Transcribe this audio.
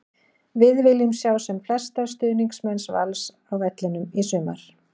Við viljum sjá sem flesta stuðningsmenn Vals á vellinum í sumar!